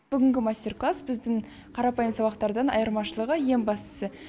бүгінгі мастер класс біздің қарапайым сабақтардан айырмашылығы ең бастысы